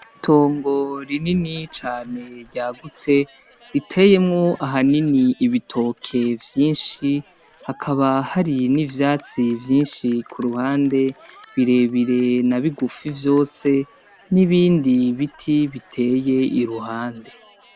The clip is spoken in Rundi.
Itongo rinini cane ryagutse, riteyemwo ahanini ibitoke vyinshi, hakaba hari n'ivyatsi vyinshi ku ruhande birebire na bugufi vyose, n'ibindi biti biteye iruhande.